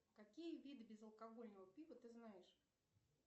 какие виды безалкогольного пива ты знаешь